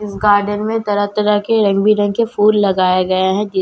इस गार्डन में तरह तरह के रंग बिरंगे फूल लगाए गए हैं कि--